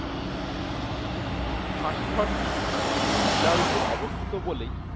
ফাঁসি ঘরটি উঁচু টিলার ওপর অবস্থিত বলেই